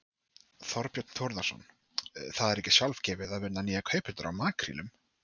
Þorbjörn Þórðarson: Það er ekki sjálfgefið að finna nýja kaupendur á makrílum?